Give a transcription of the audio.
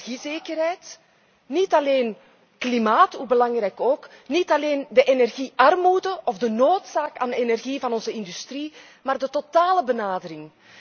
Niet alleen de energiezekerheid, niet alleen klimaat hoe belangrijk ook niet alleen de energie armoede of de behoefte aan energie van onze industrie, maar de totale benadering.